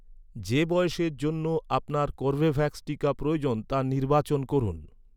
যে বয়সের জন্য আপনার কর্বেভ্যাক্স টিকা প্রয়োজন, তা নির্বাচন করুন